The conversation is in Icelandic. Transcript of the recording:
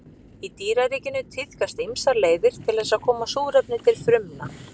Í dýraríkinu tíðkast ýmsar leiðir til þess að koma súrefni til frumna.